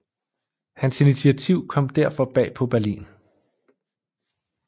Hans initiativ kom derfor bag på Berlin